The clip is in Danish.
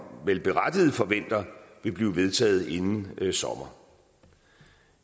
berettiget forventer vil blive vedtaget inden sommer